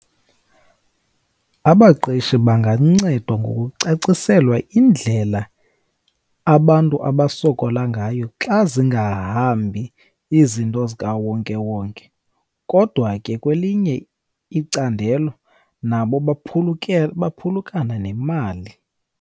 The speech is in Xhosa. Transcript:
Abaqeshi bangancedwa ngokucaciselwa indlela abantu abasokola ngayo xa zingahambi izinto zikawonkewonke. Kodwa ke kwelinye icandelo nabo baphulukana nemali.